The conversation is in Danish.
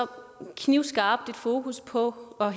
knivskarpt fokus på og